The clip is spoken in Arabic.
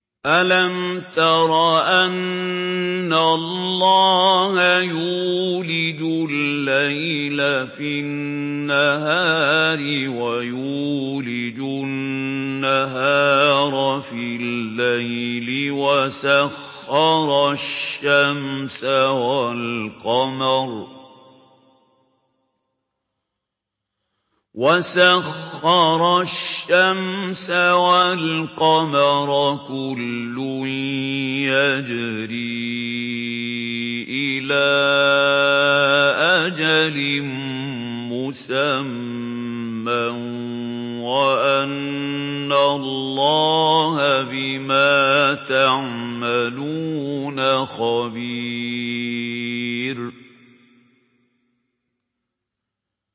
أَلَمْ تَرَ أَنَّ اللَّهَ يُولِجُ اللَّيْلَ فِي النَّهَارِ وَيُولِجُ النَّهَارَ فِي اللَّيْلِ وَسَخَّرَ الشَّمْسَ وَالْقَمَرَ كُلٌّ يَجْرِي إِلَىٰ أَجَلٍ مُّسَمًّى وَأَنَّ اللَّهَ بِمَا تَعْمَلُونَ خَبِيرٌ